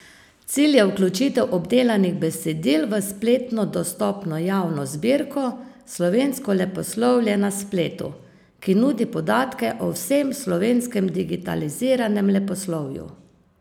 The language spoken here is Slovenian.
Cilj je vključitev obdelanih besedil v spletno dostopno javno zbirko Slovensko leposlovje na spletu, ki nudi podatke o vsem slovenskem digitaliziranem leposlovju.